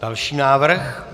Další návrh.